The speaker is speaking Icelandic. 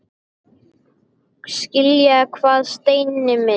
Skilja hvað, Steini minn?